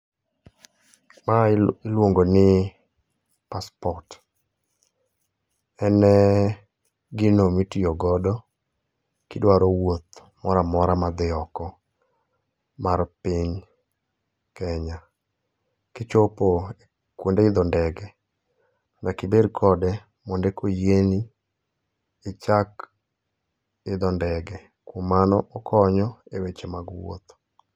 Mae iluongo ni passport. En gino mitiyogodo kidwaro wuoth moramora ma dhi oko mar piny Kenya. Kichopo kuonde idho ndege, nyaka ibed kode mondo eka oyieni ichak idho ndege. Kuom mano, okonyo, e weche mag wuotho.